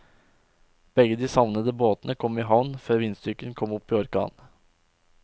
Begge de savnede båtene kom i havn før vindstyrken kom opp i orkan.